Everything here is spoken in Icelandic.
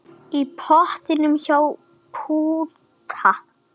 Í portinu hjá Pútta.